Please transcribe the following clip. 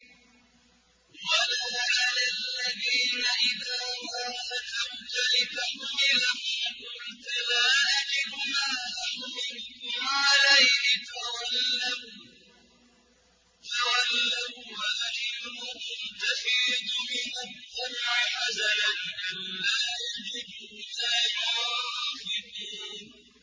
وَلَا عَلَى الَّذِينَ إِذَا مَا أَتَوْكَ لِتَحْمِلَهُمْ قُلْتَ لَا أَجِدُ مَا أَحْمِلُكُمْ عَلَيْهِ تَوَلَّوا وَّأَعْيُنُهُمْ تَفِيضُ مِنَ الدَّمْعِ حَزَنًا أَلَّا يَجِدُوا مَا يُنفِقُونَ